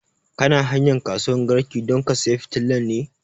Kana hanyan kasuwan garki don ka saya fitilan ne?